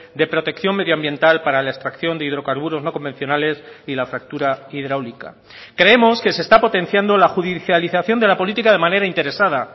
de protección medioambiental para la extracción de hidrocarburos no convencionales y la fractura hidráulica creemos que se está potenciando la judicialización de la política de manera interesada